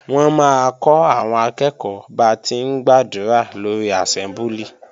Wọ́n máa kọ́ àwọn akẹ́ẹ̀kọ́ ba ti ń gbàdúrà lórí àsẹ́mbúlì